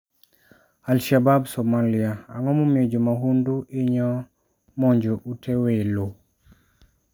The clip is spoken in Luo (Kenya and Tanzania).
Al-Shabab Somalia: Ang'o momiyo jo mahundu hinyo monjo ute welo?